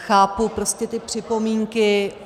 Chápu prostě ty připomínky.